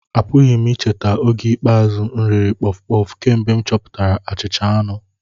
Apụghị m icheta oge ikpeazụ m riri puff-puff kemgbe m chọpụtara achicha anu